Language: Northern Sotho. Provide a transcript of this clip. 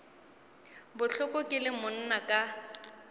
bohloko ke le monna ka